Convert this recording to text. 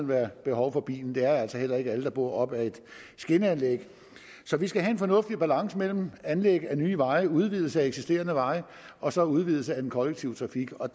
være behov for bilen det er altså heller ikke alle der bor op ad et skinneanlæg så vi skal have en fornuftig balance mellem anlæg af nye veje udvidelse af eksisterende veje og så udvidelsen af den kollektive trafik og